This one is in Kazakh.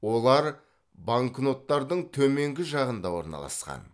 олар банкноттардың төменгі жағында орналасқан